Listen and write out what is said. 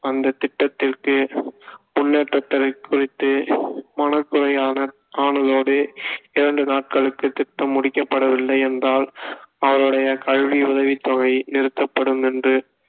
அந்த திட்டத்திற்கு முன்னேற்றத்தைக் குறித்து மனக்குறை ஆன~ ஆனதோடு இரண்டு நாட்களுக்கு திட்டம் முடிக்கப்படவில்லை என்றால் அவருடைய கல்வி உதவித் தொகை நிறுத்தப்படும் என்று